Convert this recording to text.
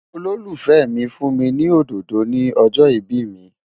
Olólùfẹ́ mi fún mi ní òdòdó ni ọjọ́ ìbí mi.